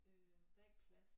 Øh der er ikke plads